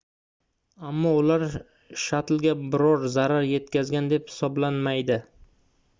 ammo ular shattlga biror zarar yetkazgan deb hisoblanmaydi